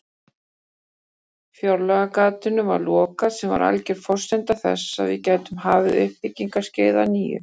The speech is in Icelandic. Fjárlagagatinu var lokað sem var alger forsenda þess að við gætum hafið uppbyggingarskeið að nýju.